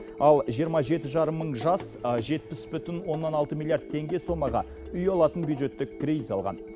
ал жиырма жеті жарым мың жас жетпіс бүтін оннан алты миллиард теңге сомаға үй алатын бюджеттік кредит алған